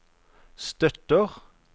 støtter